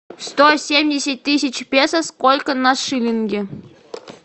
сто семьдесят тысяч песо сколько на шиллинги